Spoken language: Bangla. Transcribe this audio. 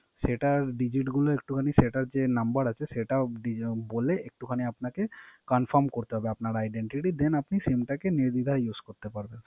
সেটা Digit গুলো একটুখানি সেটার যে Number সেটা বলে একটু খানে Confirm করতে হবে Identity, Then আপনার Sim টাকে নির্ধিদায় Use করতে পারবেন।